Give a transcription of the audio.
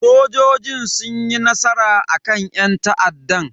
Sojojin sun yi nasara akan yan ta'addan.